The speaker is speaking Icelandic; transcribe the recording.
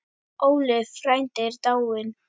Óli frændi er dáinn.